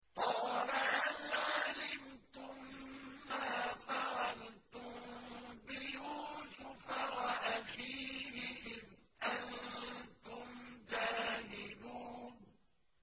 قَالَ هَلْ عَلِمْتُم مَّا فَعَلْتُم بِيُوسُفَ وَأَخِيهِ إِذْ أَنتُمْ جَاهِلُونَ